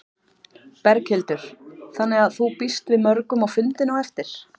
Berghildur: Þannig að þú býst við mörgum á fundinn á eftir?